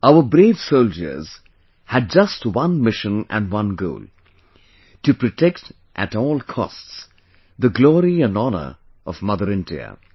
Our brave soldiers had just one mission and one goal To protect at all costs, the glory and honour of Mother India